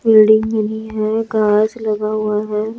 Building बनी है कांच लगा हुआ है।